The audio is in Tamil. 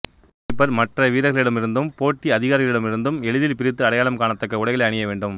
கோல்கீப்பர் மற்ற வீரர்களிடம் இருந்தும் போட்டி அதிகாரிகளிடம் இருந்தும் எளிதில் பிரித்து அடையாளம் காணத்தக்க உடைகளை அணிய வேண்டும்